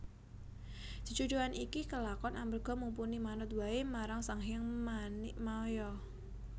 Jejodhoan iki kelakon amarga Mumpuni manut waé marang Sanghyang Manikmaya